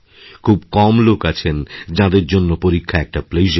খুব কম লোক আছেন যাঁদের জন্য পরীক্ষা একটা প্লেজার